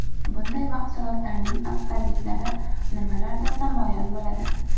Bunday mahsulotlarning afzalliklari nimalarda namoyon bo‘ladi?